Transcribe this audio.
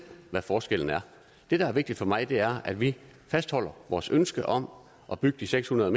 hvad forskellen er det der er vigtigt for mig er at vi fastholder vores ønske om at bygge de seks hundrede